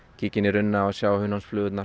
kíkja inn í runna og sjá